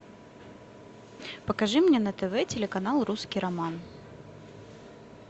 покажи мне на тв телеканал русский роман